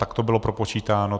Tak to bylo propočítáno.